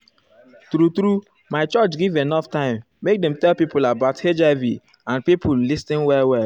true talk my church give enough time make dem tell pipo about hiv and pipo lis ten well well.